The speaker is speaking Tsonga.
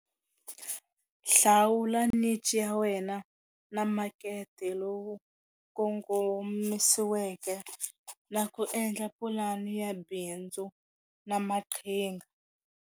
Hlawula ya wena na makete lowu kongomisiweke na ku endla pulani ya bindzu na maqhinga.